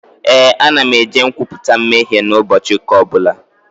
Ee, ana m eje nkwupụta mmehie n'ụbọchị ụka ọbụla